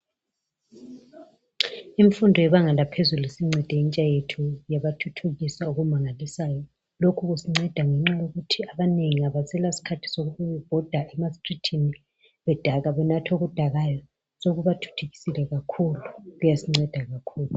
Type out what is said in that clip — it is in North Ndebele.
Imfundo yebanga laphezulu isincede intsha yethu yabathuthukisa okumangalisayo lokhu kusinceda ngenxa yokuthi abanengi abasela sikhathi sokuba bebhoda emastrithini bedakwa benatha okudakayo sokubathuthukisile kakhulu kuyazinceda kakhulu.